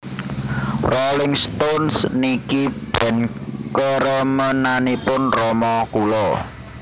Rolling Stones niki band keremenanipun rama kula